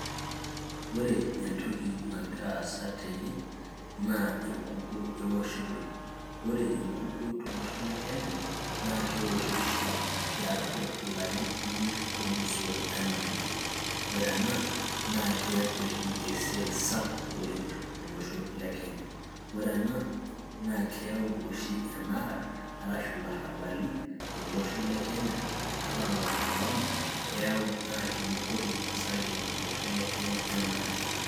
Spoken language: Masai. ore entoki nagira aasa tene naa enkukuo ewoshitoi ore enkukuo tolosho le kenya naa kewoshi oshi tiatua ilarin imiet olusoo enaake ore ena naa keeta oshi esiai sapuk oleng tolosho le kenya ore ena naa keyau oshi enara arashu ilarrabali tolosho le kenya ata maandamano keyau naa kibukori osarge tolosho le kenya enaake.